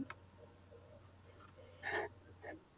ਹਾਹਾ